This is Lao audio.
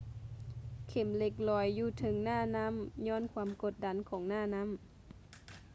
ເຂັມເຫຼັກລອຍຢູ່ເທິງໜ້ານໍ້າຍ້ອນຄວາມກົດດັນຂອງໜ້ານ້ຳ